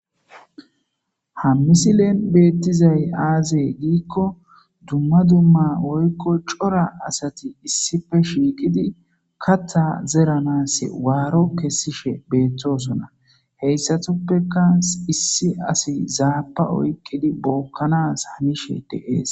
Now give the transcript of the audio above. Ha misilen betizay aze giko dumma dumma woyko cora asati issipe shiqidi katha zeranasi maro kesishe betosona hayisatupeka issi assi zabba oyikidi bokanasi hannishe dess.